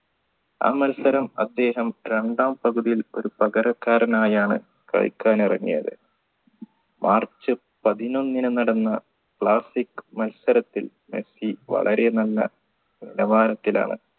ആ മത്സരം അദ്ദേഹം രണ്ടാം പകുതിയിൽ ഒരു പകരക്കാരനായാണ് കളിക്കാൻ ഇറങ്ങിയത് march പതിനൊന്നിന് നടന്ന classic മത്സരത്തിൽ മെസ്സി വളരെ നല്ല നിലവാരത്തിലാണ്